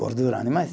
Gordura, animais.